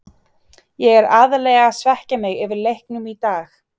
Ég er aðallega að svekkja mig yfir leiknum í dag.